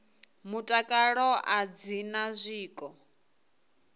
mutakalo a dzi na zwiko